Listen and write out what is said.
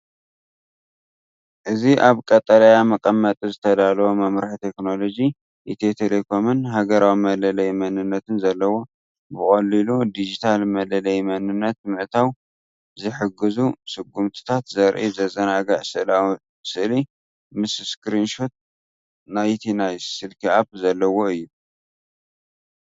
እዚ ኣብ ቀጠልያ መቀመጢ ዝተዳለወ መምርሒ ቴክኖሎጂ፣ ኢትዮ ቴሌኮምን ሃገራዊ መለለዪ መንነትን ዘለዎ። ብቐሊሉ ዲጂታላዊ መለለዪ መንነት ንምእታው ዝሕግዙ ስጉምትታት ዘርኢ ዘዘናግዕ ስእላዊ ስእሊ፡ ምስ ስክሪን ሾት ናይቲ ናይ ስልኪ ኣፕ ዘለዎ እዩ።